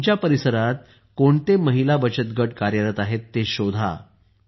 तुमच्या परिसरात कोणते महिला बचत गट कार्यरत आहेत ते शोधा